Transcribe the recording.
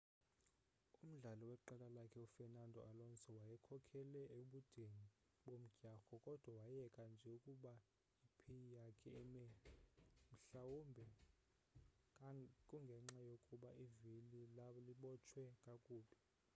umdlali weqela lakhe u fernando alonso wayekhokhele ebudeni bomdyarho kodwa wayeka nje ukuba ipiy yakhe ime mhlawumbe kungenxa yokuba ivili lalibotshwe kakubi